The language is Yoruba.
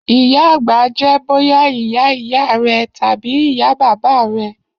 iya agba jẹ boya iya iya rẹ tabi iya baba rẹ.